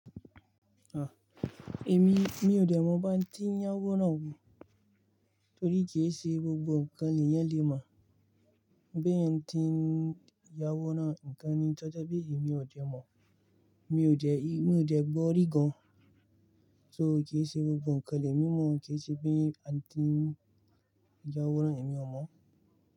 Ah, èmi mi ò dẹ́ mọ bí a tínyawọ́ náà ni. Torí kì í ṣe gbogbo ǹkan ni eeyan le mọ̀. Bi etin atínyawọ́ náà, ǹkan ní tọ̀jepe èmi ò dẹ́ mọ̀. Mi ò dẹ́, mi ò sẹ́ gbọ́ rí gan-an. So kíí ṣe gbogbo ǹkan ni emi mọ̀ kíi ṣe pe atínyawọ́ náà èmi ò mọ̀